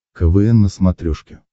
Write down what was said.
квн на смотрешке